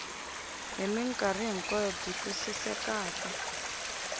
hi mikarhi hinkwayo byi twisisekaka